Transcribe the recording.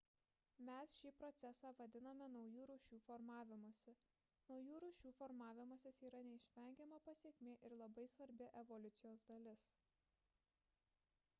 mes šį procesą vadiname naujų rūšių formavimusi naujų rūšių formavimasis yra neišvengiama pasekmė ir labai svarbi evoliucijos dalis